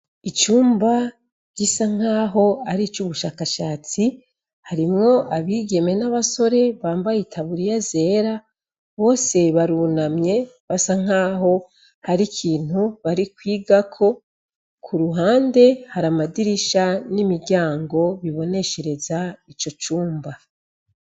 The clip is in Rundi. Icumba gisa naho aricubu shaka shatsi harimwo abigeme nabasore nambaye itaburiya zera bose barunamye basanaho hari ikintu bari kwigako kuruhande haramadirisha nimiryango abonesha kino cumba